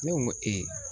Ne ko n ko